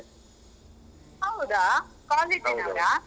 ಹೌದಾ ಕಾಲೇಜಿನವ್ರಾ?